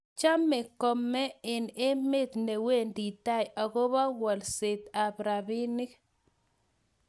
Chomey komeng' eng' emet ne wendi tai agobo walset ab robinik.